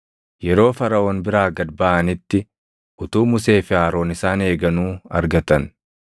Yeroo Faraʼoon biraa gad baʼanitti utuu Musee fi Aroon isaan eeganuu argatan;